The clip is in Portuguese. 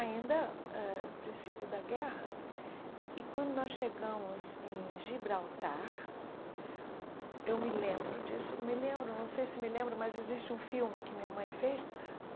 Ainda, ãh princípio da guerra, e quando nós chegamos em Gibraltar, eu me lembro disso, me lembro, não sei se me lembro, mas existe um filme que minha mãe fez.